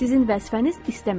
Sizin vəzifəniz istəmək.